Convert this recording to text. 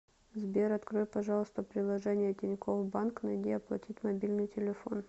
сбер открой пожалуйста приложение тинькофф банк найди оплатить мобильный телефон